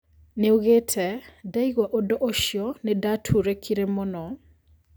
Nĩoigĩte "Ndaigua ũndũ ũcio nĩndaturĩkire mũno"